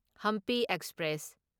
Hampi express